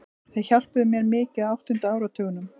Þeir hjálpuðu mér mikið á áttunda áratugnum.